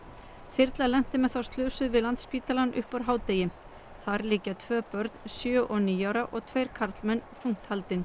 þyrla lenti með þá slösuðu við Landspítalann upp úr hádegi þar liggja tvö börn sjö og níu ára og tveir karlmenn þungt haldin